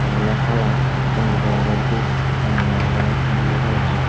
te awle hala gonjibo awle dup penno awle blu kalaror.